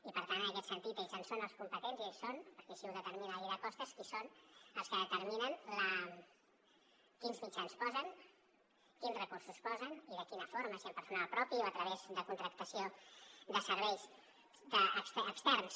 i per tant en aquest sentit ells en són els competents i ells són perquè així ho determina la llei de costes els que determinen quins mitjans posen quins recursos posen i de quina forma si amb personal propi o a través de contractació de serveis externs